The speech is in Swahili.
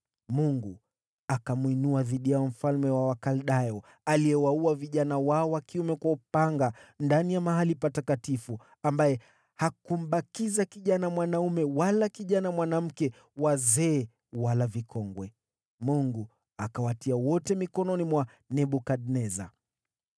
Mungu akamwinua dhidi yao mfalme wa Wakaldayo, aliyewaua vijana wao wa kiume kwa upanga ndani ya mahali patakatifu, ambaye hakumbakiza kijana mwanaume wala kijana mwanamke, wazee wala vikongwe. Mungu akawatia wote mikononi mwa Nebukadneza.